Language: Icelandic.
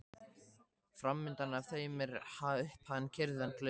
Framundan þeim var upphafin kyrrð en glaumur að baki.